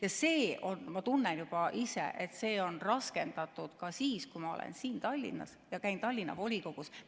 Ja ma tunnen juba ise, et see on raskendatud ka siis, kui ma olen siin Tallinnas ja käin Tallinna volikogus.